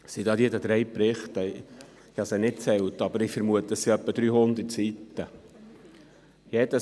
Ich habe sie nicht gezählt, aber ich vermute, es sind etwa 300 Seiten.